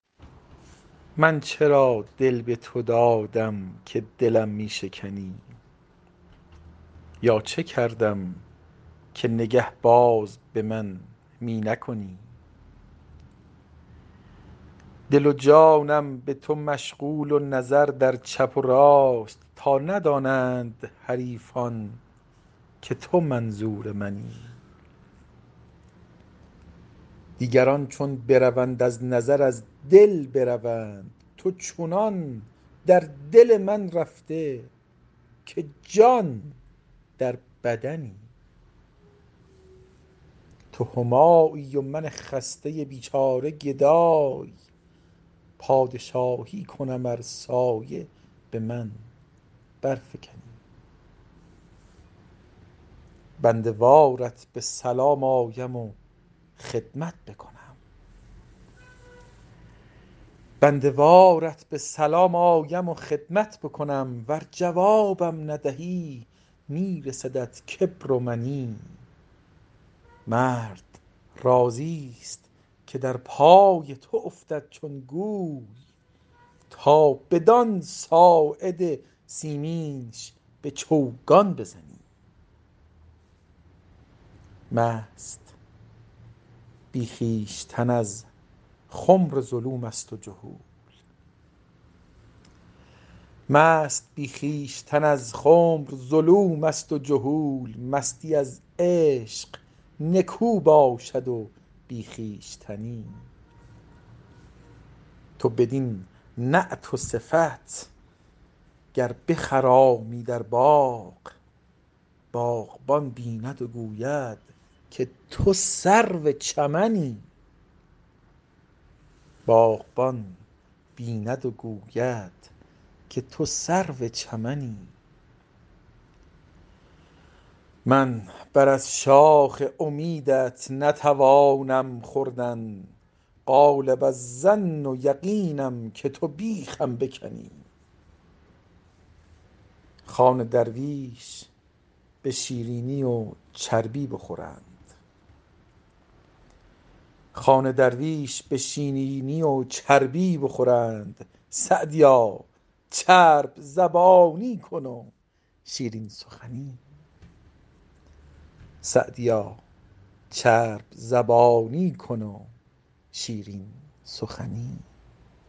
من چرا دل به تو دادم که دلم می شکنی یا چه کردم که نگه باز به من می نکنی دل و جانم به تو مشغول و نظر در چپ و راست تا ندانند حریفان که تو منظور منی دیگران چون بروند از نظر از دل بروند تو چنان در دل من رفته که جان در بدنی تو همایی و من خسته بیچاره گدای پادشاهی کنم ار سایه به من برفکنی بنده وارت به سلام آیم و خدمت بکنم ور جوابم ندهی می رسدت کبر و منی مرد راضیست که در پای تو افتد چون گوی تا بدان ساعد سیمینش به چوگان بزنی مست بی خویشتن از خمر ظلوم است و جهول مستی از عشق نکو باشد و بی خویشتنی تو بدین نعت و صفت گر بخرامی در باغ باغبان بیند و گوید که تو سرو چمنی من بر از شاخ امیدت نتوانم خوردن غالب الظن و یقینم که تو بیخم بکنی خوان درویش به شیرینی و چربی بخورند سعدیا چرب زبانی کن و شیرین سخنی